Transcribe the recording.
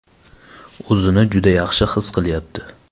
O‘zini juda yaxshi his qilyapti.